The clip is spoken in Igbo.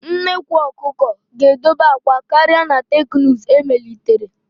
Nnekwu ọkụkọ ga-edoba akwa karịa na teknụzụ emelitere.